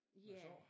Ja